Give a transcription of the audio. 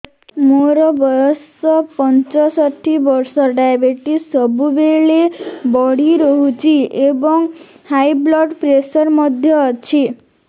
ମୋର ବୟସ ପଞ୍ଚଷଠି ବର୍ଷ ଡାଏବେଟିସ ସବୁବେଳେ ବଢି ରହୁଛି ଏବଂ ହାଇ ବ୍ଲଡ଼ ପ୍ରେସର ମଧ୍ୟ ଅଛି